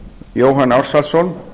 jóhann ársælsson